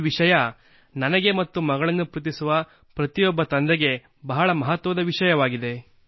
ಈ ವಿಷಯ ನನಗೆ ಮತ್ತು ಮಗಳನ್ನು ಪ್ರೀತಿಸುವ ಪ್ರತಿಯೊಬ್ಬ ತಂದೆಗೆ ಬಹಳ ಮಹತ್ವದ ವಿಷಯವಾಗಿದೆ